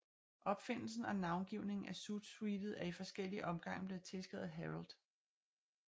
Opfindelsen og navngivningen af zoot suitet er i forskellige omgange blevet tilskrevet Harold C